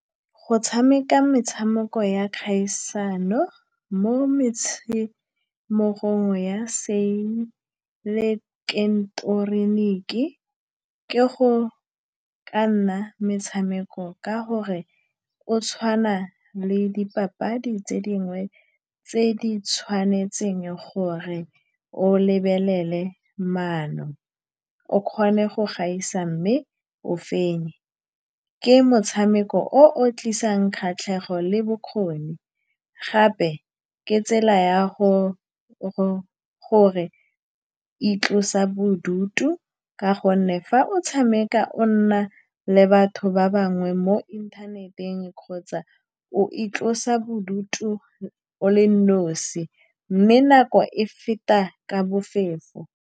Go tshameka metshameko ya kgaisano mo metshamekong ya seileteroniki ke go ka nna metshameko, ka gore o tshwana le dipapadi tse dingwe tse di tshwanetseng gore o lebelele maano, o kgone go gaisa mme o fenye. Ke motshameko o o tlisang kgatlhego le bokgoni, gape ke tsela ya go-go gore o itlosa bodutu, ka gonne fa o tshameka le batho ba bangwe mo inthaneteng kgotsa o itlosa bodutu o le nosi, mme nako e feta ka bofefo.